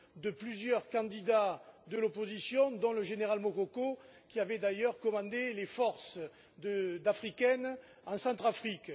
de plusieurs candidats de l'opposition, dont le général Mokoko, qui avait d'ailleurs commandé les forces africaines en Centrafrique.